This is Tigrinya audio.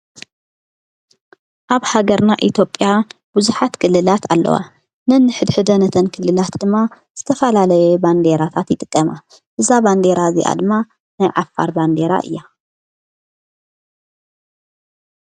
ኣብ ሃገርና ኢትዮጵያ ብዙኃት ክልላት ኣለዋ ነንኅድ ኅደ ነተን ክልላት ድማ ዝተፋላለየ ባንዴራታት ይጥቀማ እዛ ባንዴራ እዚኣ ድማ ናይ ዓፋር ባንዴራ እያ።